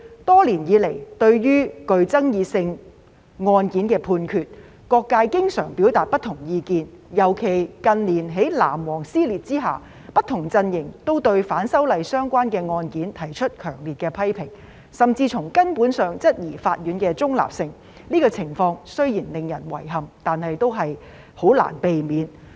多年以來，對於具爭議性案件的判決，各界經常表達不同意見，尤其近年在"藍黃"撕裂之下，不同陣營都對反修例相關的案件提出強烈的批評，甚至從根本上質疑法院的中立性，這情況雖然令人遺憾，但也難以避免。